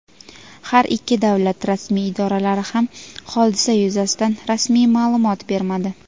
Har ikki davlat rasmiy idoralari ham hodisa yuzasidan rasmiy ma’lumot bermadi.